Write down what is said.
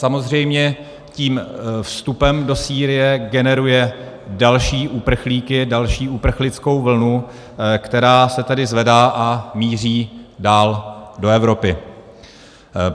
Samozřejmě tím vstupem do Sýrie generuje další uprchlíky, další uprchlickou vlnu, která se tedy zvedá a míří dál do Evropy.